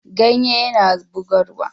Ganye yana bugarwa.